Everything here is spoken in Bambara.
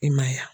I ma ye wa